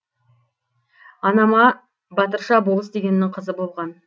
анам батырша болыс дегеннің қызы болған